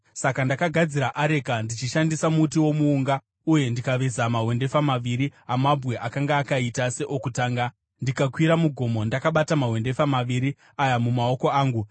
Saka ndakagadzira areka ndichishandisa muti womuunga uye ndikaveza mahwendefa maviri amabwe akanga akaita seokutanga, ndikakwira mugomo ndakabata mahwendefa maviri aya mumaoko angu.